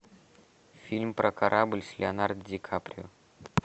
фильм про корабль с леонардо ди каприо